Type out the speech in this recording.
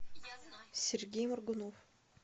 сергей моргунов